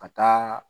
Ka taa